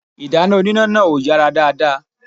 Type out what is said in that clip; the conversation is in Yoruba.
Ìdáná oníná náà ò yàrá dáadáa